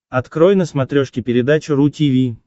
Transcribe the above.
открой на смотрешке передачу ру ти ви